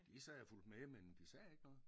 De sad og fulgte med men de sagde ikke noget